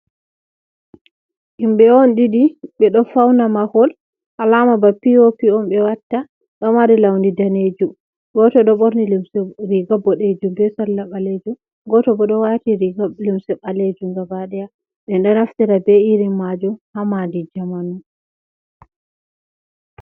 Himɓɓe on ɗiɗi ɓe ɗo fauna mahol alama ba pio pi’on ɓe watta, ɗo mari laundi danejum, goto ɗo ɓorni limse riga boɗejum be salla ɓalejum, goto bo ɗo wati riga limse ɓalejum gaba daya, men ɗo naftira be irin majum ha madi jamanu.